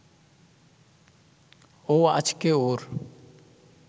ও আজকে ওর